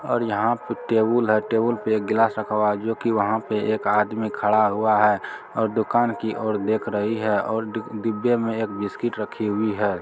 और यहाँ पे एक टेबुल है टेबुल पर एक गिलास रखा हुआ है जो की वहां पर एक आदमी खड़ा हुआ है और दुकान की और देख रही है और और डी- डिब्बे में एक बिस्कुट रखी हुई है।